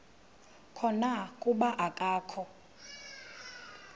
khona kuba akakho